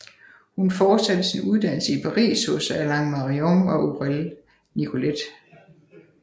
Hun fortsatte sin uddannelse i Paris hos Alain Marion og Aurèle Nicolet